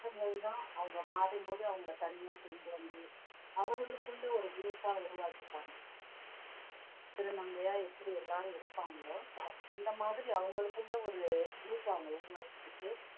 மாற்றங்கள் தான் அவங்க மாறும்போது அவங்களை தனியா கொண்டு வந்து அவர்களுக்குள்ள ஒரு group ஆ உருவாக்கிப்பாங்க திருநாங்கையா எப்படி எல்லாரும் இருக்காங்களோ அந்த மாதிரி அவங்களுக்குள்ள ஒரு group அ அவங்க உருவாக்கிக்கிட்டு